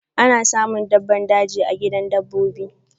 Ana samun dabbban daji a gidan dabbobi.